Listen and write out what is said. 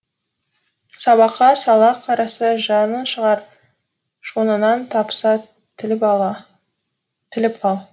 сабаққа салақ қараса жанын шығар жонынан таспа тіліп ал